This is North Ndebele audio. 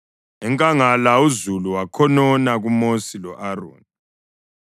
Enkangala uzulu wakhonona kuMosi lo-Aroni.